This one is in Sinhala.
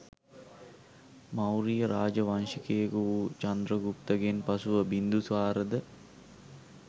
මෞරිය රාජ වංශිකයෙකු වූ චන්ද්‍රගුප්තගෙන් පසුව බින්දුසාර ද